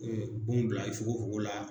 E wo bila i fongofongo la.